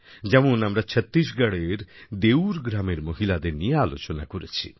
যেমন আমরা ছত্তিশগড়ের দেউর গ্রামের মহিলাদের নিয়ে আলোচনা করেছি